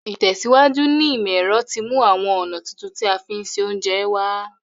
Ìtẹ̀síwájú ní ìmọ̀ ero ti mú àwon ọ̀nà tuntun ti a fi n se ounje wa